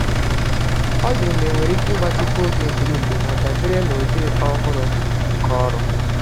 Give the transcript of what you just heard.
Ọ jụrụ ma enwere íke igbatịkwu ógè mbiri-mbi ha, dabere n'ụdị ọhụrụ nke ọrụ